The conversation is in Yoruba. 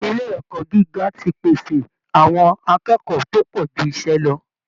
ilé ẹ̀kọ́ gíga ti pèsè àwọn akẹ́kọ̀ọ́ tó pọ̀ ju iṣẹ́ lọ